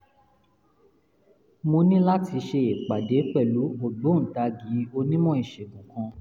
mo ní láti ṣe ìpàdé pẹ̀lú ògbóǹtagì onímọ̀ ìṣègùn kan